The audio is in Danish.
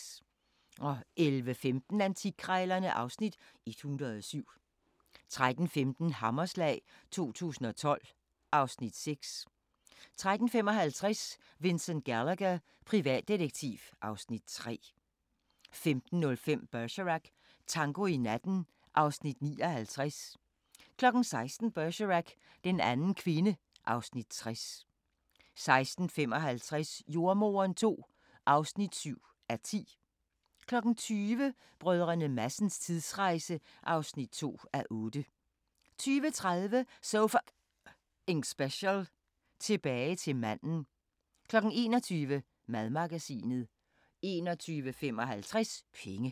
11:15: Antikkrejlerne (Afs. 107) 13:15: Hammerslag 2012 (Afs. 6) 13:55: Vincent Gallagher, privatdetektiv (Afs. 3) 15:05: Bergerac: Tango i natten (Afs. 59) 16:00: Bergerac: Den anden kvinde (Afs. 60) 16:55: Jordemoderen II (7:10) 20:00: Brdr. Madsens tidsrejse (2:8) 20:30: So F***ing Special: Tilbage til manden 21:00: Madmagasinet 21:55: Penge